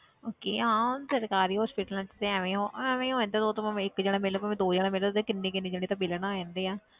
Okay ਹਾਂ ਸਰਕਾਰੀ hospitals 'ਚ ਐਵੇਂ ਉਹ ਐਵੇਂ ਹੀ ਉਹ ਏਦਾਂ ਤਾਂ ਉਹ ਭਾਵੇਂ ਇੱਕ ਜਾਣਾ ਮਿਲ ਪਵੇ ਦੋ ਜਾਣੇ ਮਿਲਣ ਤੇ ਕਿੰਨੇ ਕਿੰਨੇ ਜਾਣੇ ਤੇ ਮਿਲਣ ਆ ਜਾਂਦੇ ਹੈ।